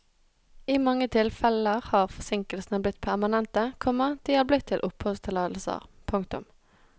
I mange tilfeller har forsinkelsene blitt permanente, komma de er blitt til oppholdstillatelser. punktum